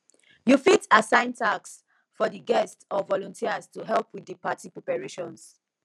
you fit assign tasks for di guests or volunteers to help with di party preparations